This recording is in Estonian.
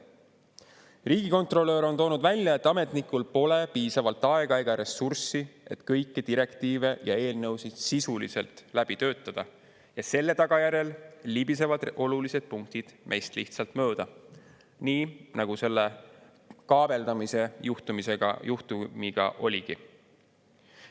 Riigikontrolör on toonud välja, et ametnikel pole piisavalt aega ega ressurssi, et kõiki direktiive ja eelnõusid sisuliselt läbi töötada, ja selle tagajärjel libisevad olulised punktid meist lihtsalt mööda, nii nagu selle kaabeldamise juhtumiga oligi.